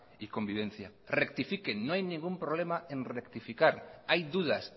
y convivencia rectifiquen no hay ningún problema en rectificar hay dudas